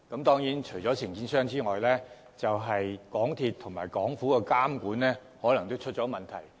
當然，除了承建商外，港鐵公司及政府的監管也可能出現問題。